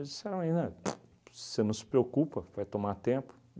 Eles disseram aí, né, pu você não se preocupa, vai tomar tempo.